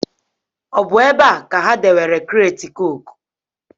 Ọ bụ ebe a ka ha dewere kreeti cooku?